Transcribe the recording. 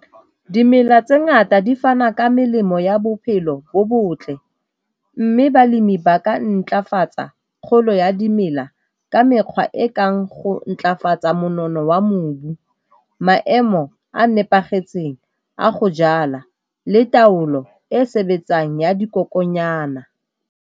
Dimela tse ngata di fana ka melemo ya bophelo bo botle, mme balemi ba ka ntlafalatsa kgolo ya dimela ka mekgwa e kang go ntlafatsa monono wa mobu, maemo a nepagetseng a go jala le taolo e e sebetsang ya dikoko nyana.